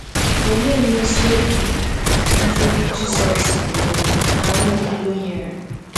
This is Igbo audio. Olee mmesi obi ike Jizọs um na Nwaokolo nyere?